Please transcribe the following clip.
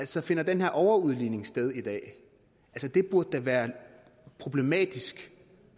så finder den her overudligning sted i dag det burde da være problematisk